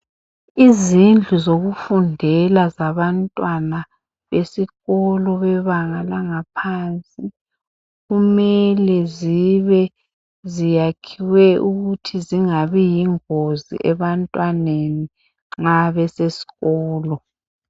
Izindlu zokufundela zabantwana besikolo bebanga lanagaphansi kumele zibe ziyakhiwe ukuthi zingabi yingozi ebantwaneni nxa besesikolo